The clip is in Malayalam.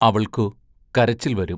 അവൾക്കു കരച്ചിൽ വരും.